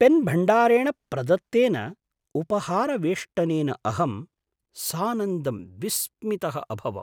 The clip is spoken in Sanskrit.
पेन्भण्डारेण प्रदत्तेन उपहारवेष्टनेन अहं सानन्दं विस्मितः अभवम्।